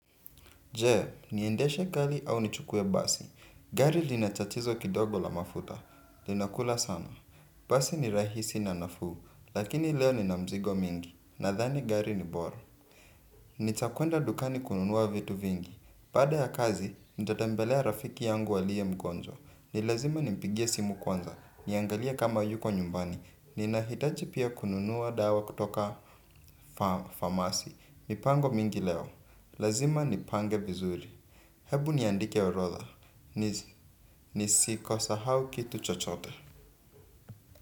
Jee, niendeshe gali au nichukue basi. Gari linatatizo kidogo la mafuta linakula sana. Basi ni rahisi na nafu. Lakini leo ni namzigo mingi. Na dhani gari ni bora. Nitakwenda dukani kununua vitu vingi. Bada ya kazi, nitatambelea rafiki yangu aliye mgonjwa. Nilazima nimpigie simu kwanza. Niangalie kama yuko nyumbani. Nina hitachi pia kununuwa dawa kutoka famasi. Mipango mingi leo. Lazima nipange vizuri. Hebu niandike orotha. Nisi kosahau kitu chochote.